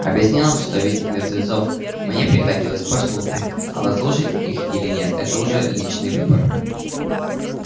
объяснил что видеть мертвецов мне приходилось по службе а вот слушать их или нет это уже мой личный выбор